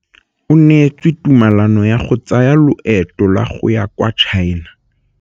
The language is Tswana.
O neetswe tumalanô ya go tsaya loetô la go ya kwa China.